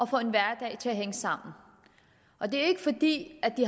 få en hverdag til at hænge sammen og det er ikke fordi de